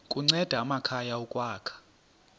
kunceda amakhaya ukwakha